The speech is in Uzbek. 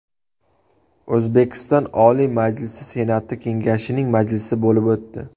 O‘zbekiston Oliy Majlisi Senati Kengashining majlisi bo‘lib o‘tdi.